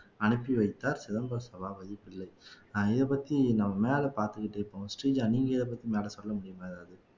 அனுப்பி வைத்தார் சிதம்பர சபாபதி பிள்ளை அஹ் இதைப்பத்தி நம்ம மேலே பார்த்துக்கிட்டு இருப்போம் ஸ்ரீஜா நீங்க இதைப் பத்தி மேலே சொல்ல முடியுமா ஏதாவது